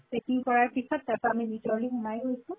checking কৰাৰ পিছত আমি ভিতৰলৈ সোমাই গৈছো